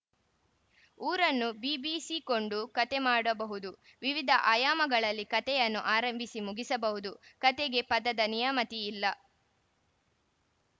ಊರನ್ನು ಬೀಬಿಸಿಕೊಂಡು ಕಥೆ ಮಾಡಬಹುದು ವಿವಿಧ ಆಯಾಮಗಳಲ್ಲಿ ಕಥೆಯನ್ನು ಆರಂಭಿಸಿ ಮುಗಿಸಬಹುದು ಕಥೆಗೆ ಪದದ ನಿಯಮತಿ ಇಲ್ಲ